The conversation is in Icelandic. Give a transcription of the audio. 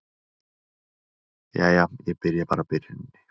Jæja, ég byrja bara á byrjuninni.